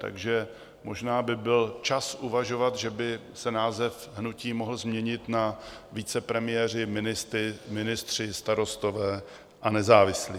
Takže možná by byl čas uvažovat, že by se název hnutí mohl změnit na Vicepremiéři, ministři, starostové a nezávislí.